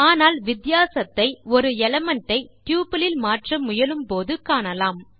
ஆனால் வித்தியாசத்தை ஒரு எலிமெண்ட் ஐ டப்பிள் இல் மாற்ற முயலும்போது காணலாம்